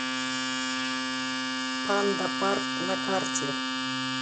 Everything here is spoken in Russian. пандапарк на карте